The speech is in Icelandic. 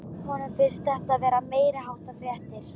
Honum finnst þetta vera meiriháttar frétt!